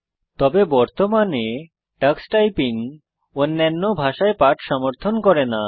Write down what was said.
তবে বর্তমানে টক্স টাইপিং অন্যান্য ভাষায় পাঠ সমর্থন করে না